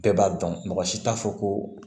Bɛɛ b'a dɔn mɔgɔ si t'a fɔ ko